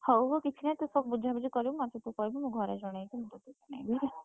ହଉ ହଉ କିଛି ନାହିଁ ତୁ ସବୁ ବୁଝାବୁଝି କରିବୁ ମତେ ତୁ କହିବୁ ମୁଁ ଘରେ ଜଣେଇବି ହେଲା ।